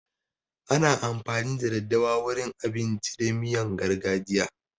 Ana amfani da daddawa wurin abinci da miyan gargajiya.